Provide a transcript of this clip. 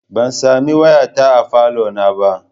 Ban sami wayata a falo na ba.